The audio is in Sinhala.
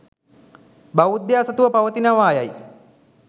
බෞද්ධයා සතුව පවතිනවා යයි